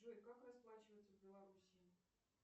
джой как расплачиваться в белоруссии